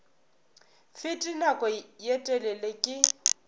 fete nako ye telele ke